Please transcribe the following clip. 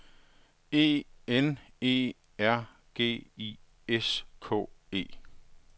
E N E R G I S K E